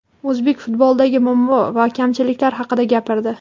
o‘zbek futbolidagi muammo va kamchiliklar haqida gapirdi:.